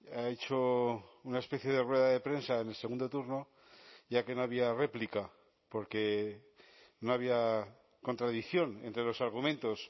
ha hecho una especie de rueda de prensa en el segundo turno ya que no había réplica porque no había contradicción entre los argumentos